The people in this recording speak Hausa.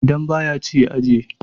idan ba ya ci ya ajiye?